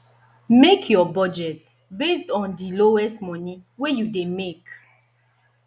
make your budget based on di lowest money wey you dey make